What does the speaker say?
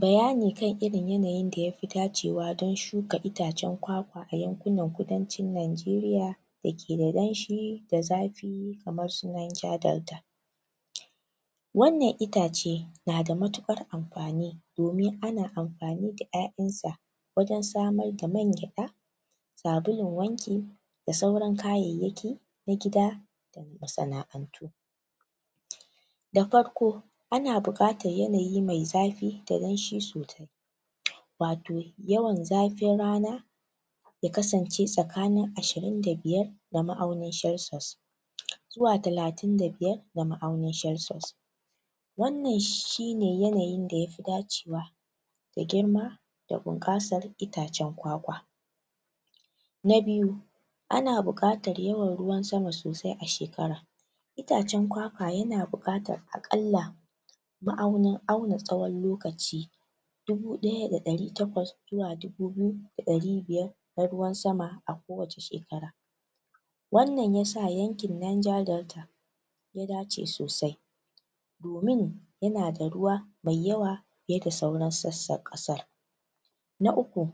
Bayani kan irin yanayin da yafi dacewa don shuka itacen kwakwa a yankunan kudancin Najeriya da keda danshi da zafi, kamar su Niger Delta. Wannan itace na da matuƙar amfani domin ana amfani da ƴaƴansa wajen samar da man gyaɗa, sabulun wanki, da sauran kayayyaki na gida, na sana'a. Da farko ana buƙatan yanayi mai zafi da danshi so. Wato yawan zafin rana ya kasance tsakanin ashirin da biyar ga ma'aunin celcius zuwa talatin da biyar ga ma'aunin celsius. Wannan shi ne yanayin da yafi dacewa da girma da bunƙasar itacen kwakwa. Na biyu ana buƙatar yawan ruwan sama sosai a shekara. Itacen kwakwa ya na buƙatan aƙalla ma'aunin auna tsawon lokaci dubu ɗaya da ɗari takwas, zuwa dubu biyu da ɗari biyar na ruwan sama a kowace shekara. Wannan yasa yankin Niger Delta ya dace sosai domin ya na da ruwa mai yawa fiye da sauran sassan ƙasar. Na uku